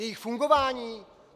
Jejich fungování?